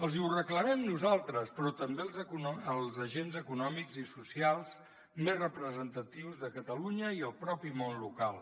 els ho reclamem nosaltres però també els agents econòmics i socials més representatius de catalunya i el mateix món local